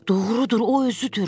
Doğrudur, o özüdür.